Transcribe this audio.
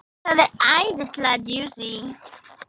Þessi æðislega djúsí!